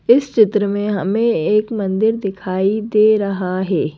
इस चित्र में हमें एक मंदिर दिखाई दे रहा है।